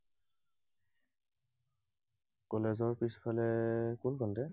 কলেজৰ পাছফালে, কোনকণতে?